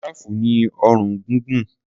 Jìráàfù ní ọrùn gúngùn.